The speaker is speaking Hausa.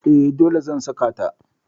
E, dole zan saka ta.